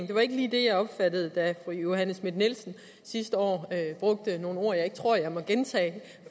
det var ikke lige det jeg opfattede da fru johanne schmidt nielsen sidste år brugte nogle ord som jeg ikke tror jeg må gentage